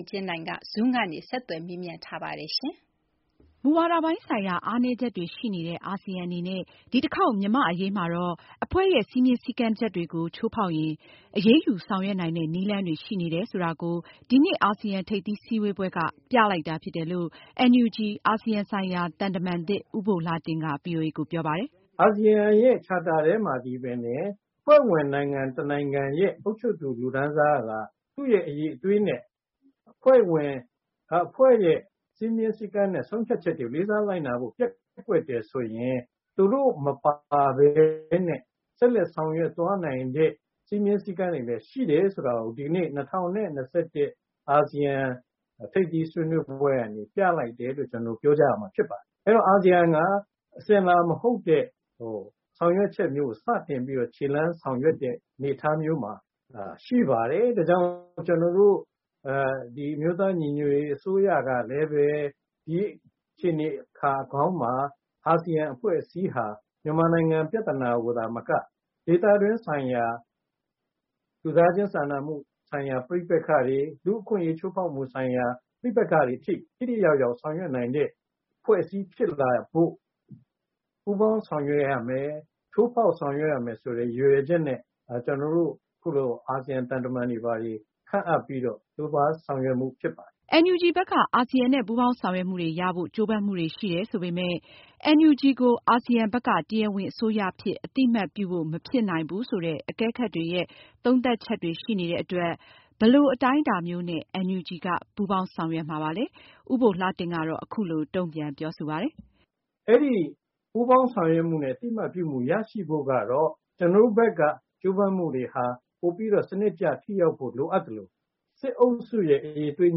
အင်ကြင်းနိုင်က ဦးဘိုလှတင့်ကို Zoomကနေ ဆက်သွယ်မေးမြန်းထားပါတယ်။ မူဝါဒပိုင်းဆိုင်ရာ အားနည်းချက်တွေရှိနေတဲ့ အာဆီယံအနေနဲ့ ဒီတခေါက် မြန်မာအရေးမှာတော့ အဖွဲ့ရဲ့ စည်းမျဉ်းစည်းကမ်းသစ်တွေ ချိုးဖောက်ရင် အရေးယူဆောင်ရွက်နိုင်တယ်ဆိုတဲ့ နည်းလမ်းတွေရှိနေတယ်ဆိုတာကို ဒီနှစ် အာဆီယံထိပ်သီးဆွေးနွေးပွဲက ပြလိုက်တာဖြစ်တယ်လို့ NUG အာဆီယံဆိုင်ရာ သံတမန်သစ် ဦးဘိုလှတင့် က ဗွီအိုအေ ကိုပြောပါတယ်။ အာဆီယံရဲ့ ချာတာထဲမှာသည်ပင်လျှင် အဖွဲ့ဝင်နိုင်ငံတနိုင်ငံရဲ့ အုပ်ချုပ်သူလူတန်းစာက သူရဲ့အရည်အသွေးနဲ့ အဖွဲ့ဝင် အဖွဲ့ရဲ့စည်းမျဉ်းစည်းကမ်းတွေကို လေးစားလိုက်နာလိုက်နာဖို့ ပျက်ကွက်တယ်ဆိုရင် သူတို့မပါပဲနဲ့ ဆက်လက်ဆောင်ရွက်သွားနိုင်ဖို့ စည်းမျဉ်းစည်းကမ်းတွေလည်းရှိတယ်ဆိုတာကို ဒီနေ့ ၂ဝ၂၁ အာဆီယံထိပ်သီးဆွေးနွေးပွဲကနေ ပြလိုက်တယ်လို့ ကျနော်ပြောကြရမှာဖြစ်ပါတယ်။ အဲတော့ အာဆီယံက အစဉ်အလာမဟုတ်တဲ့ ဆောင်ရွက်ချက်မျိုးကို စတင်ဆောင်ရွက်တဲ့ အနေအထားမျိုးမှာ ရှိပါတယ်။ ဒါ့ကြောင့် ကျနော်တို့ အမျိုးသားညီညွတ်ရေးအစိုးရကလည်းပဲ ဒီအခြေနေကောင်းမှာ အာဆီယံအဖွဲ့အစည်းဟာ မြန်မာနိုင်ငံပြသာနာကိုသာမက ဒေသတွင်းဆိုင်ရာ လူသားချင်းစာနာမှု ပဋိပက္ခတွေ၊ လူ့အခွင့်အရေးဆိုင်ရာ ပဋိပက္ခတွေထိ ထိထိရောက်ရောက် ဆောင်ရွက်နိုင်တဲ့အဖွဲ့အစည်းဖြစ်လာဖို့ ပူးပေါင်းဆောင်ရွက်ရမယ်။ ထိုးဖောက်ဆောင်ရွက်ရမယ်ဆိုတဲ့ ရည်ရွယ်ချက်နဲ့ ကျနော်တို့ ခုလို အာဆီယံ သံတမန်တွေခန့်အပ်ပြီးတော့ ကြိုးပန်းဆောင်ရွက်မှုဖြစ်ပါတယ်။ NUG ဖက်က အာဆီယံနဲ့ ပူးပေါင်းဆောင်ရွက်မှုတွေရှိတယ်ဆိုပေမယ့်NUG ကို အာဆီယံဖက်က တရားဝင်အစိုးရအဖြစ် အသိအမှတ်ပြုဖို့ မဖြစ်နိုင်ဘူးဆိုတဲ့ သုံးသပ်ချက်တွေရှိနေတဲ့အတွက် ဘယ်လိုအတိုင်းအတာမျိုးနဲ့ NUG က ပူးပေါင်းဆောင်ရွက်မှာလည်း ဦးဘိုလှတင့် ကတော့ အခုလိုတုံပြန်ပြောဆိုပါတယ်။ အဲဒီ ပူးပေါင်းဆောင်ရွက်မှုနဲ့ အသိအမှတ်ပြုမူရရှိဖို့ကတော့ ကျနော်တို့ဖက်က ကြိုးပန်းဆောင်ရွက်မှုတွေဟာပိုပြီးတော့ စနစ်ကျမှုနဲ့ ထိရောက်ဖို့လိုအပ်သလို စစ်အုပ်စုရဲ့ အရည်အသွေး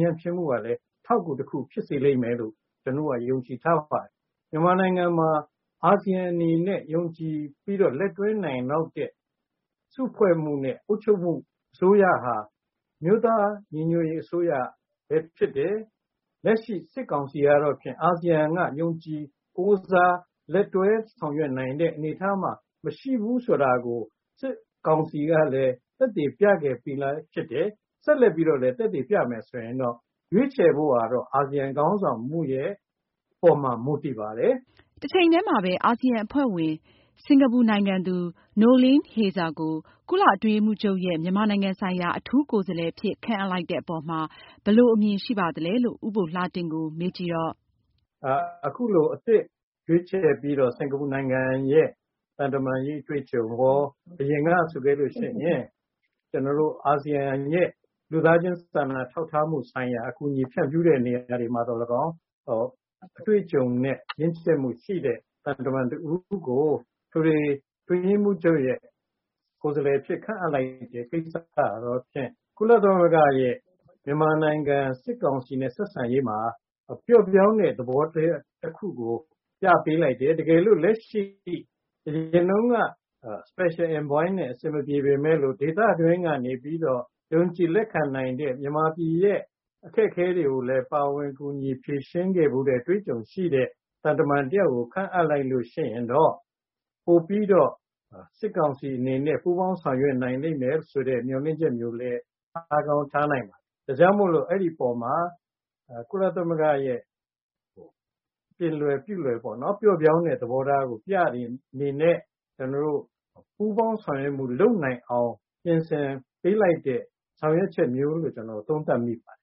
ညံဖျင်းမှုကလည်း အထောက်အကူဖြစ်လိမ့်မယ်လို့လည်း ကျနော်တို့က ယုံကြည်ထားပါတယ်။ မြန်မာနိုင်ငံမှာ အာဆီယံအနေနဲ့ ယုံကြည်ပြီးတော့ လက်တွဲနိုင်မယ့် စုဖွဲ့မှုနဲ့ အုပ်ချုပ်မှုအစိုးရဟာ အမျိုးသားညီညွတ်ရေးအစိုးရပဲဖြစ်တယ်။ လက်ရှိစစ်ကောင်စီကတော့ အာဆီယံက ယုံကြည်ကိုးစားလက်တွနိုင်လောက်တဲ့အနေအထားမှာ မရှိဘူးဆိုတာ စစ်ကောင်စီက သက်သေပြခဲ့ပြီးသားဖြစ်တယ်။ ဆက်လက်ပြီးတော့လည်း သက်သေပြမယ်ဆိုရင်တော့ ရွေးချယ်မှုကတော့ အာဆီယံခေါင်းဆောင်မှုရဲ့အပေါ်မှာ မူတည်ပါတယ်။ တချိန်တည်းမှာ အာဆီယံအဖွဲ့ဝင် စင်္ကာပူနိုင်ငံသူ Noeleen Heyzer ကို ကုလအတွင်းရေးမှူးချုပ်ရဲ့ မြန်မာနိုင်ငံဆိုင်ရာ ကိုယ်စားလှယ်အဖြစ် ခန့်အပ်လိုက်တဲ့အပေါ်မှာ ဘယ်လိုအမြင်ရှိပါသလဲလို့ ဦးဘိုလှတင့် ကိုမေးကြည့်တဲ့အခါမှာ အခုလို အသစ်ခန့်အပ်လိုက်တဲ့ စင်္ကာပူနိုင်ငံရဲ့ သံတမန်ရေးအတွေ့အကြုံရော အရင်က အာဆီယံရဲ့ လူသားချင်းစာနာထောက်ထားတဲ့နေရာတွေမှာ အကူအညီဖြန့်ဖြူးတဲ့နေရာတွေမှာရော အတွေ့ကြုံနဲ့ ရင့်ကြက်မှုရှိသူ သံတမန်တဦးကို အထွေထွေအတွင်းရေးမှူးချုပ် ရဲ့ကိုယ်စားလှယ်အဖြစ်ခန့်အပ်လိုက်တဲ့ ကိစ္စကတောဖြစ် ကုလသမဂ္ဂရဲ့ မြန်မာနိုင်ငံစစ်ကောင်စီနဲ့ဆက်ဆံရေးမှာ ပျော့ပြောင်းတဲ့ သဘောထားတခုကိုပြပေးလိုက်တယ်။ တကယ်လို့ အရင်တုံးက Special Envoy နဲ့ အဆင်မပြေပေမယ်လို့ ယုံကြည်လက်ခံနိုင်တဲ့ မြန်မာပြည်ရဲ့ အခက်ခဲတွေကိုလည်း ပါဝင်ဖြေရှင်းပေးတဲ့ အတွေ့အကြုံရှိသူ သံတမန်တယောက်ကို ခန့်အပ်လိုက်လို့ရှိရင်တော့ ပိုပြီးတော့ စစ်ကောင်စီအနေနဲ့ ပူးပေါင်းဆောင်ရွက်နိုင်လိမ့်မယ်ဆိုတဲ့ မျှော်လင့်ချက်တွေ ထားကောင်းထားနိုင်ပါတယ်။ ဒါကြောင့်မိုလို့ အဲဒီအပေါ်မှာ ကုလသမဂ္ဂရဲ့ ပြင်လယ်ပြုလွယ် ပျော့ပြောင်းတဲ့ သဘောထားကို ပြတဲ့အနေနဲ့ ပူးပေါင်းဆောင်ရွက်မှုလုပ်နိုင်အောင် ပြင်ဆင်ပေးလိုက်တယ်လို့ ကျနော်သုံးသပ်မိပါတယ်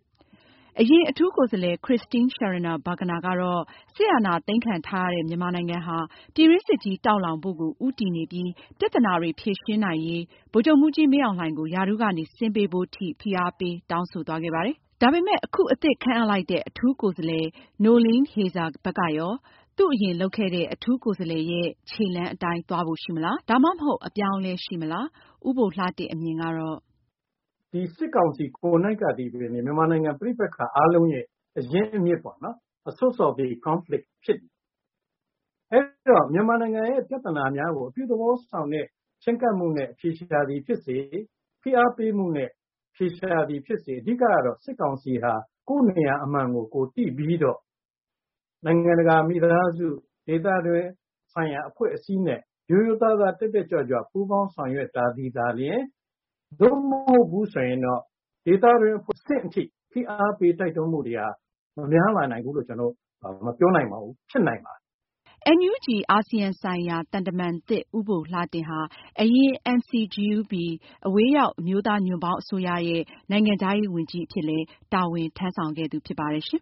။ အရင်အထူးကိုယ်စားလှယ် Christine Schraner Burgener ကတော့ စစ်အာဏာသိမ်းခံထားရတဲ့ မြန်မာနိုင်ငံဟာ ပြည်တွင်းစစ်တောင်လောင်မှုကို ဦးတည်နေပြီး ပြသာနာတွေဖြေရှင်းနိုင်ရေး ဗိုလ်ချုပ်မှူးကြီး မင်းအောင်လှိုင် ကို ရာထူးကဆင်းပေးဖို့အထိတောင်းဆိုခဲ့ပါတယ်။ ဒါပေမယ့် အခုအသစ်ခန့်အပ်လိုက်တဲ့ အထူးကိုယ်စာ းလှယ်က သူအရင်လုပ်ခဲ့တဲ့ အထူးကိုယ်စားလှယ်ရဲ့ခြေလှမ်းအတိုင်းသွားဖို့ရှိမလား။ ဒါမှမဟုတ် အပြောင်းအလဲရှိမလား။ ဦးဘိုလှတင့် အမြင်က ဒီစစ်ကောင်စီကိုယ်တိုင်ကပင်လျှင် မြန်မာနိုင်ငံမှာ ပဋိပက္ခအားလုံးရဲ့ အရင်းအမြစ်ပေါ့။ အဲဒီတော့ မြန်မာနိုင်ငံရဲ့ပြသာနာများကို အပြုသဘောဆောင် ချည်းကပ်မှုနဲ့ အဖြေရှာသည်ဖြစ်စေ၊ ဖိအားပေးနဲ့ အဖြေရှာသည်ဖြစ်စေ၊ အဓိကကတော့ စစ်ကောင်စီဟာ နိုင်ငံတကာမိသားစု ဒေသတွင်းဆိုင်ရာအဖွဲ့အစည်းနဲ့ ရိုးရိုးသားသားတက်တက်ကြွကြွ ပူးပေါင်းဆောင်ရွက်သာသည်တာလျှင် သို့မဟုတ်လိုကတော့ ဒေသတွင်းဖိအားပေးမှုတွေများမလာဘူးလို့ မပြောနိုင်တော့ပါဘူး။ ဖြစ်နိုင်ပါတယ်။ NUG အာဆီယံဆိုင်ရာ သံတမန်သစ် ဦးဘိုလှတင့် ဟာ အရင်က NCGUB အဝေးရောက် ညွန့်ပေါင်းအစိုးရရဲ့ နိုင်ငံခြားရေးဝန်ကြီး အဖြစ်လည်း တာဝန်ထမ်းဆောင်ခဲ့သူဖြစ်ပါတယ်ရှင်